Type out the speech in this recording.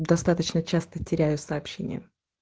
достаточно часто теряю сообщение